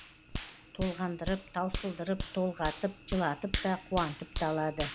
толғандырып таусылдырып толғатып жылатып та қуантып та алады